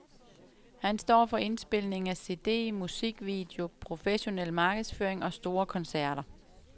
Han står for indspilning af cd, musikvideo, professionel markedsføring og store koncerter.